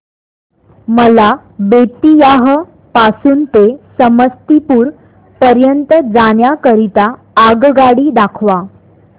मला बेत्तीयाह पासून ते समस्तीपुर पर्यंत जाण्या करीता आगगाडी दाखवा